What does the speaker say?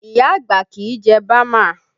Iya àgbà kì í jẹ bama